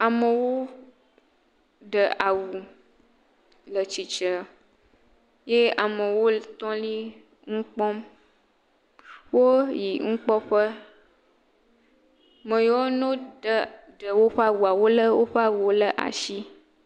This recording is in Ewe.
Amowo ɖe awu le tsitsre, ye amowo tɔ li, ŋu kpɔm, wo yi ŋu kpɔ ƒe, meyiwo no ɖe o ƒe awua, wo lé o ƒe awuwo le ashi.